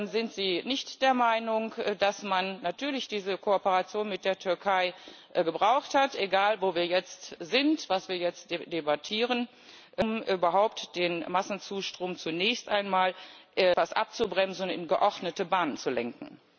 Sind Sie nicht der Meinung, dass man natürlich diese Kooperation mit der Türkei gebraucht hat egal, wo wir jetzt sind, was wir jetzt debattieren um überhaupt den Massenzustrom zunächst einmal etwas abzubremsen und in geordnete Bahnen zu lenken?